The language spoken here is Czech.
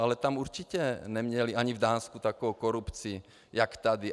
Ale tam určitě neměli, ani v Dánsku, takovou korupci jak tady.